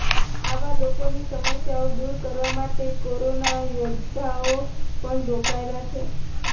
આવા લોકોની સમસ્યાઓ દૂર કરવા માટે કોરોના યોદ્ધાઓ પણ રોકાયેલા છે